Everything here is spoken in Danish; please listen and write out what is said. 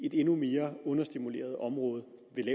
et endnu mere understimuleret område